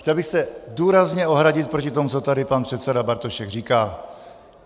Chtěl bych se důrazně ohradit proti tomu, co tady pan předseda Bartošek říká.